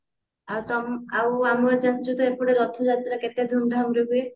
ଆଉ ତ ଆଉ ଆମ ଜାଣିଛୁ ତ ଏପଟେ ରଥ ଯାତ୍ରା କେତେ ଧୁମଧାମ ରେ ହୁଏ